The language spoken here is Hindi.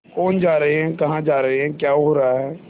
कौन जा रहे हैं कहाँ जा रहे हैं क्या हो रहा है